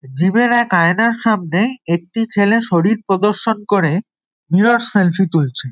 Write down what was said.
Gym -এর এক আয়নার সামনে একটি ছেলে শরীর প্রদর্শন করে নীরব সেলফি তুলছে।